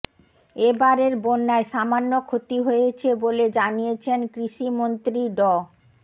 এবারের বন্যায় সামান্য ক্ষতি হয়েছে বলে জানিয়েছেন কৃষিমন্ত্রী ড